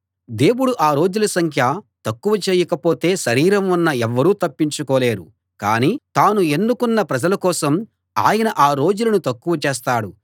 దేవుడు ఆ రోజుల సంఖ్య తక్కువ చెయ్యకపోతే శరీరం ఉన్న ఎవ్వరూ తప్పించుకోలేరు కాని తాను ఎన్నుకున్న ప్రజల కోసం ఆయన ఆ రోజులను తక్కువ చేస్తాడు